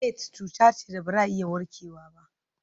Aids cuta ce da ba za a iya warkewa ba.